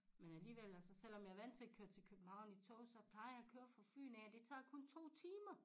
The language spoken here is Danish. Men alligevel altså selvom jeg er vandt til at køre til København i tog så plejer jeg at køre fra Fyn af og det tager kun 2 timer